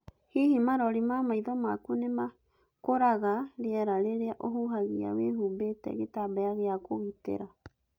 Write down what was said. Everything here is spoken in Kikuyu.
Hihi marori ma maitho maku nĩ makũraga rĩera rĩrĩa ũhuhagia wĩhumbĩte gĩtambaya gĩa kũgitĩra?